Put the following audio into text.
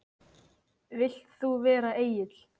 Vilt þú vera Egill?